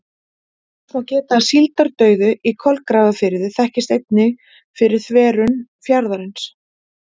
Þess má geta að síldardauði í Kolgrafafirði þekktist einnig fyrir þverun fjarðarins.